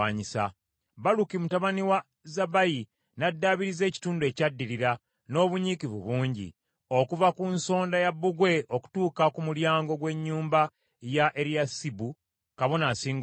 Baluki mutabani wa Zabbayi n’addaabiriza ekitundu ekyaddirira n’obunyiikivu bungi, okuva ku nsonda ya bbugwe okutuuka ku mulyango gw’ennyumba ya Eriyasibu kabona asinga obukulu.